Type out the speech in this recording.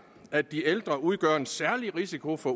at de ældre udgør en særlig risiko for